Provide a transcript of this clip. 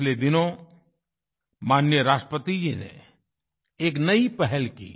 पिछले दिनों माननीय राष्ट्रपति जी ने एक नई पहल की